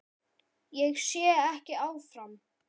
Ég sé ekki áfram.